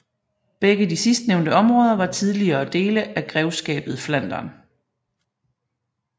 Begge de sidstnævnte områder var tidligere dele af grevskabet Flandern